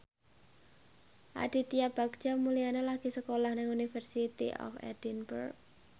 Aditya Bagja Mulyana lagi sekolah nang University of Edinburgh